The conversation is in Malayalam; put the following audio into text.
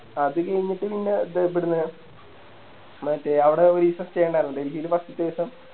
അത് കയിഞ്ഞിട്ട് പിന്നെ ദേ ഇബടന്ന് മറ്റേ അവിടോരിസം Stay ഇണ്ടാരുന്നു ഡെൽഹില് First ത്തെ ദിവസം